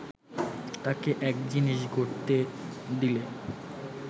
তাকে এক জিনিস গড়তে দিলে